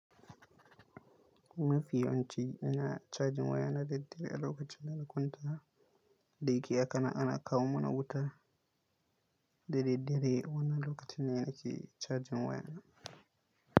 Mafi yawanci ina cajin waya na daddare a lokacin da na kwanta da yike yaka ana kawo mana wuta. Daddare wannan lokacin ne ake cajin wayana.